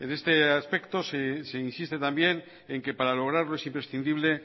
este aspecto se insiste también en que para lograrlo es imprescindible